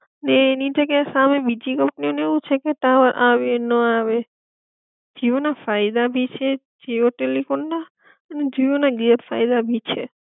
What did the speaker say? ને એની જગ્યા એ સામે બીજી કંપનીઑ નું એવું છે કે ટાવર આવે ના આવે, જીઓ ના ફાયદા ભી છે જીઓ ટેલિફોન ના અને ગેર ફાયદા ભી છે.